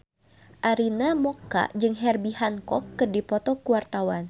Arina Mocca jeung Herbie Hancock keur dipoto ku wartawan